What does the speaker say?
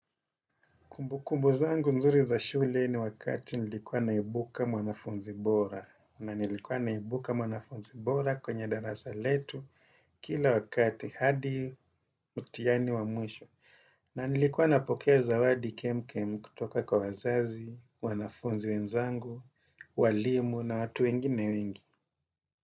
Kumbu kumbu zangu nzuri za shule ni wakati nilikuwa naibuka mwanafunzi bora. Na nilikuwa naibuka mwanafunzi bora kwenye darasa letu kila wakati hadi mtihani wa mwisho. Na nilikuwa napokea zawadi kem kem kutoka kwa wazazi, wanafunzi wenzangu, walimu na watu wengine wengi.